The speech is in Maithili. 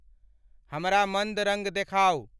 हमरा मंद रंग देखाउ।